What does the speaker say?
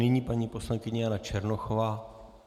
Nyní paní poslankyně Jana Černochová.